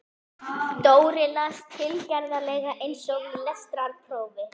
Dóri las, tilgerðarlega eins og í lestrarprófi